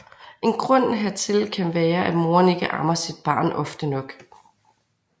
En grund hertil kan være at moren ikke ammer sit barn ofte nok